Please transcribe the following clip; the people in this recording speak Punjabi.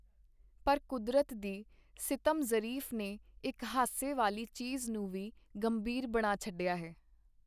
ਪਰ ਕੁਦਰਤ ਦੀ ਸਿਤਮ-ਜ਼ਰੀਫੀ ਨੇ ਇਕ ਹਾਸੇ ਵਾਲੀ ਚੀਜ਼ ਨੂੰ ਵੀ ਗੰਭੀਰ ਬਣਾ ਛਡਿਆ ਹੈ.